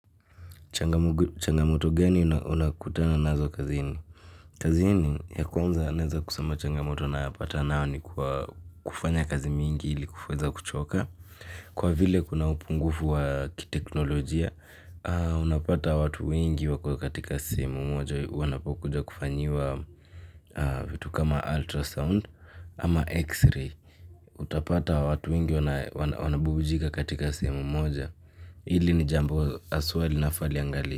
Changamoto gani unakutana nazo kazini. Kazini ya kwanza naeza kusema changamoto na pata nao ni kufanya kazi mingi ili kufuweza kuchoka. Kwa vile kuna upungufu wa kiteknolojia, unapata watu wengi wako katika simu moja wanapokuja kufanyiwa vitu kama ultrasound ama x-ray. Utapata watu wengi wanabubujika katika sehemu moja. Hili ni jambo aswa linafali angali.